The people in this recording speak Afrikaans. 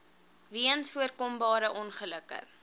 weens voorkombare ongelukke